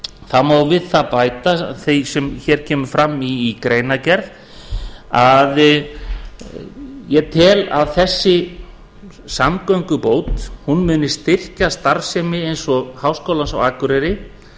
það má við það bæta sem hér kemur fram í greinargerð að ég tel að þessi samgöngubót muni styrkja starfsemi eins og háskólans á akureyri